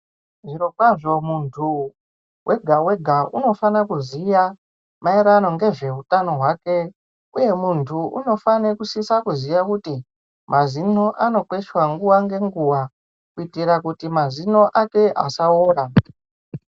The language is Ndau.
Zviro kwazvo muntu wega wega unofana kuziya mairirano ngezveutano hwake uye muntu unofane kusisa kuziya kuti mazino anokweshwa nguwa ngenguwa kuitira kuti mazino ake asaora.